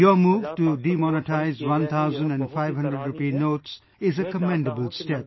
Your move to demonetize 1000 and 500 rupee notes is a commendable step